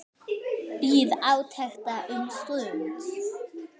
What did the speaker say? Bíð átekta um stund.